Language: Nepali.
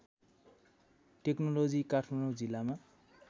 टेक्नोलोजी काठमाडौँ जिल्लामा